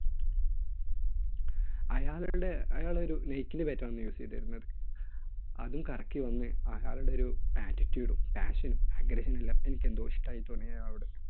അയാളുടെ, അയാൾ ഒരു Nike ന്‍റെ bat ആണ് use ചെയ്തിരുന്നത്. അതും കറക്കി വന്ന് അയാളുടെ ഒരു attittude, passion, agression എല്ലാം എനിക്കെന്തോ ഇഷ്ടമായി തുടങ്ങി അയാളോട്.